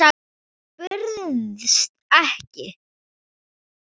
Hann bauðst ekki.